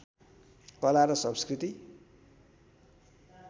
कला र संस्कृति